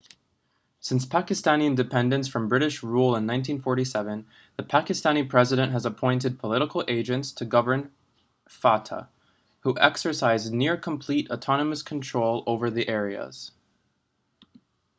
since pakistani independence from british rule in 1947 the pakistani president has appointed political agents to govern fata who exercise near-complete autonomous control over the areas